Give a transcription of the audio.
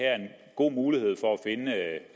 god mulighed for